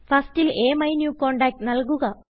Firstൽ AMyNewContactനല്കുക